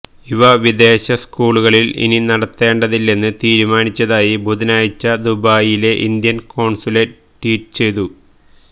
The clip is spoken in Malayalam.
ഇവ വിദേശ സ്കൂളുകളില് ഇനി നടത്തേണ്ടതില്ലെന്ന് തീരുമാനിച്ചതായി ബുധനാഴ്ച ദുബായിലെ ഇന്ത്യന് കോണ്സുലേറ്റ് ട്വീറ്റ് ചെയ്തു